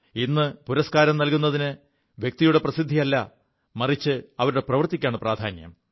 ഇ് പുരസ്കാരം നല്കുതിന് വ്യക്തിയുടെ പ്രസിദ്ധിയല്ല മറിച്ച് അവരുടെ പ്രവൃത്തിക്കാണ് പ്രാധാന്യം